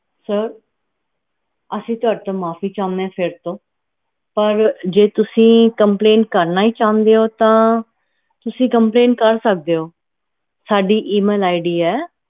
sir ਅਸੀਂ ਤੁਹਾਡੇ ਤੋਂ ਮਾਫੀ ਚਹੁਣੇ ਓ ਫੇਰ ਤੋਂ ਪਰ ਜੇ ਤੁਸੀਂ complaint ਕਰਨਾ ਚਹੁਣੇ ਊ ਤਾ ਤੁਸੀਂ complaint ਕਰ ਸਕਦੇ ਊ ਸਾਡੀ email ID ਹੈ